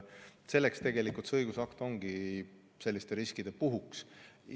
Selleks tegelikult see õigusakt ongi, selliste riskide puhuks.